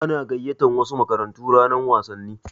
Ana gayyatar wasu makarantu ranar wasanni.